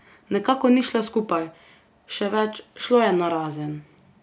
Nekako ni šlo skupaj, še več, šlo je narazen...